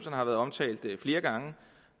har været omtalt flere gange